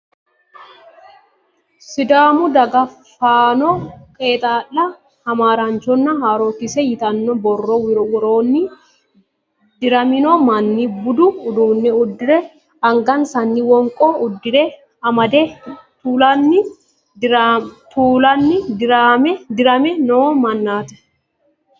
Sidaamu daga fonoo (qeexaala, hamaaraanchonna haarookise) yitanno borro woroonni diramino manni budu uduunne uddire angansanni wonqonna urde amade taalunni dirame noo mannaati.